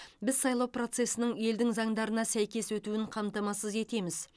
біз сайлау процесінің елдің заңдарына сәйкес өтуін қамтамасыз етеміз